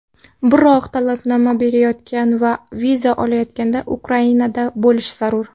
Biroq talabnoma berayotgan va viza olayotganda Ukrainada bo‘lish zarur.